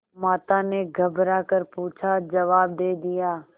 माता ने घबरा कर पूछाजवाब दे दिया